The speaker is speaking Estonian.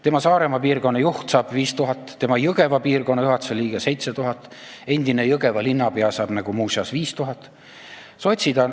Tema Saaremaa piirkonna juht saab 5000, tema Jõgeva piirkonna juhatuse liige 7000, endine Jõgeva linnapea saab nagu muuseas 5000.